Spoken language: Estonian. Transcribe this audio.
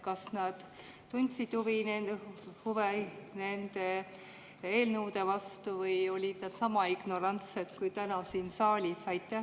Kas nad tundsid huvi nende eelnõude vastu või olid nad sama ignorantsed kui täna siin saalis?